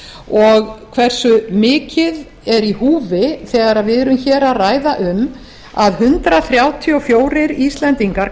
og hversu mikið er í húfi þegar við erum að ræða um að hundrað þrjátíu og fjórir íslendingar